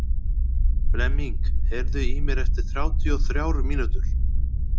Flemming, heyrðu í mér eftir þrjátíu og þrjár mínútur.